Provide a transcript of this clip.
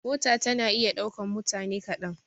Mota tana iya ɗaukan mutane kaɗan.